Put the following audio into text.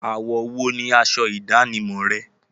Àwọ̀ wo ni asọ ìdánimọ̀ rẹ?